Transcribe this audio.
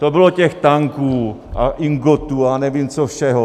To bylo těch tanků a ingotů a nevím čeho všeho.